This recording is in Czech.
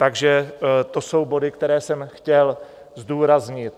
Takže to jsou body, které jsem chtěl zdůraznit.